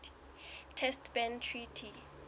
test ban treaty